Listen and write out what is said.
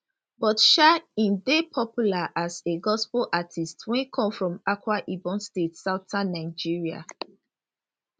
but um im dey popular as a gospel artiste wey come from akwa ibom state southern nigeria